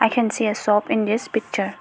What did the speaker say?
we can see a shop in this picture.